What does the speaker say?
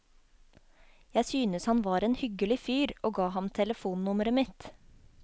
Jeg synes han var en hyggelig fyr, og ga ham telefonnummeret mitt.